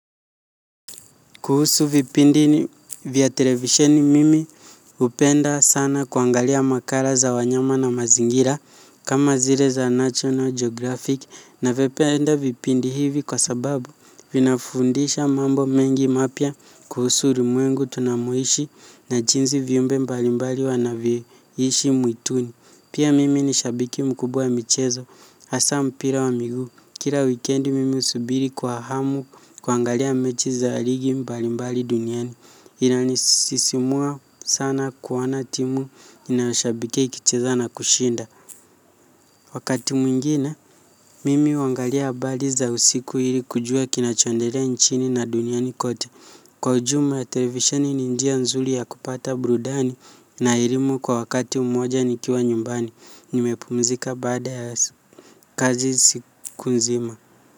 Kuhusu vipindi ni vya televisheni mimi hupenda sana kuangalia makala za wanyama na mazingira kama zile za National Geographic navipenda vipindi hivi kwa sababu vinafundisha mambo mengi mapya kuhusu ulimwengu tunamoishi na jinsi viumbe mbalimbali wanavyoishi mwituni. Pia mimi ni shabiki mkubwa wa michezo, hasa mpira wa miguu. Kila wikendi mimi husubiri kwa hamu kuangalia mechi za ligi mbalimbali duniani. Inanisisimua sana kuona timu ninayoshabikia ikicheza na kushinda. Wakati mwingine, mimi huangalia habari za usiku ili kujua kinachoendelea nchini na duniani kote. Kwa ujumla televisheni ni njia nzuri ya kupata burudani na elimu kwa wakati mmoja nikiwa nyumbani, nimepumzika baada ya kazi siku nzima.